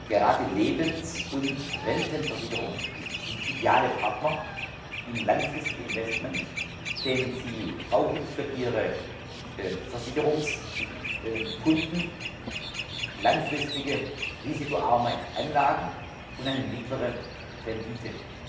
Gerade Lebens und Rentenversicherungen sind ideale Partner in langfristigen Investments, denn sie brauchen für ihre Versicherungskunden langfristige, risikoarme Anlagen und eine mittlere Rendite.